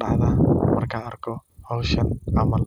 dacdaa, markaan arko howshan camal.